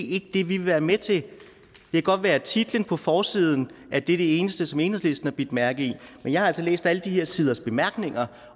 ikke det vi vil være med til det kan godt være at titlen på forsiden er det eneste som enhedslisten har bidt mærke i men jeg har altså læst alle de her siders bemærkninger